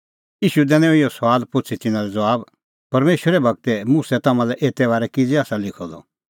ईशू बोलअ तिन्नां लै परमेशरे गूर मुसा तम्हां लै एते बारै किज़ै आसा लिखअ द